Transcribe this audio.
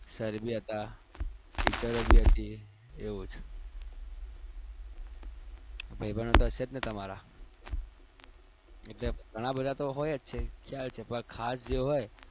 sir બી હતા teacher બી હતી એવું છે ભાઈ બંધો તો હશે જ ને તમારા ગણા બધા તો હોય જ છે ખ્યાલ છે પણ ખાસ જે હોય